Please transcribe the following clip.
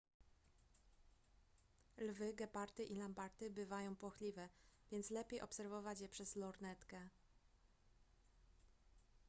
lwy gepardy i lamparty bywają płochliwe więc lepiej obserwować je przez lornetkę